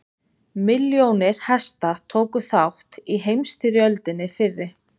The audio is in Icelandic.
milljónir hesta tóku þátt í heimsstyrjöldinni fyrri